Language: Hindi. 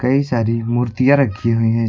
कई सारी मूर्तियां रखी हुई है जी--